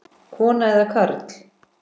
Kona eða karl?